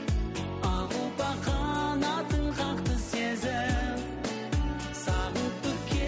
ақ ұлпа қанатын қақты сезім сағынтып